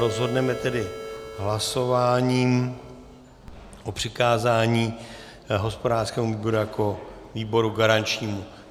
Rozhodneme tedy hlasováním o přikázání hospodářskému výboru jako výboru garančnímu.